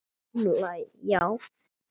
Sú gamla, já.